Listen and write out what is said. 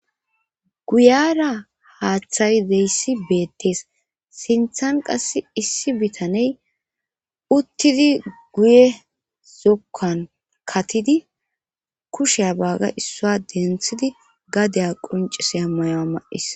Guyara haaththayi deyssi beettees sinthan qass issi bitaney uttidi guye zokkan katidi kushea baaga issua denthidi gadeya quncis ammayoa ma'is.